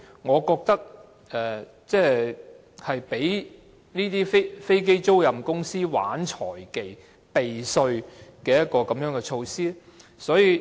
我認為這是容許飛機租賃公司玩弄財技，避稅的措施。